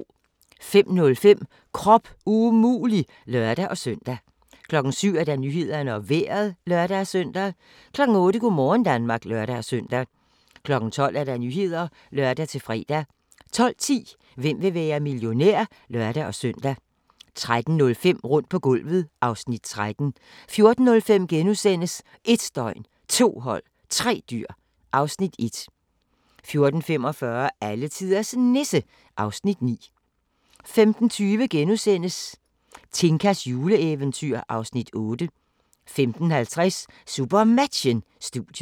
05:05: Krop umulig! (lør-søn) 07:00: Nyhederne og Vejret (lør-søn) 08:00: Go' morgen Danmark (lør-søn) 12:00: Nyhederne (lør-fre) 12:10: Hvem vil være millionær? (lør-søn) 13:05: Rundt på gulvet (Afs. 13) 14:05: 1 døgn, 2 hold, 3 dyr (Afs. 1)* 14:45: Alletiders Nisse (Afs. 9) 15:20: Tinkas juleeventyr (Afs. 8)* 15:50: SuperMatchen: Studiet